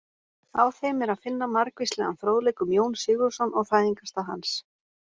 Á þeim er að finna margvíslegan fróðleik um Jón Sigurðsson og fæðingarstað hans.